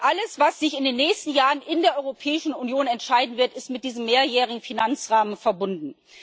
Denn alles, was sich in den nächsten Jahren in der europäischen Union entscheiden wird, ist mit diesem mehrjährigen Finanzrahmen verbunden.